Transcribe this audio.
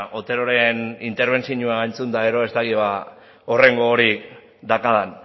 oteroren interbentzioa entzun eta gero ez dakit horren gogorik daukadan